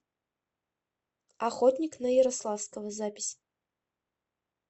охотник на ярославского запись